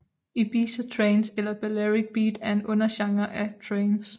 Ibiza trance eller Balearic beat er en undergenre af trance